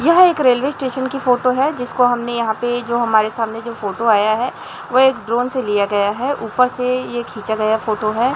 यह एक railway station की फोटो है जिसको हमने यहां पे जो हमारे सामने जो फोटो आया है वो एक ड्रोन से लिया गया है ऊपर से यह खींचा गया फोटो है।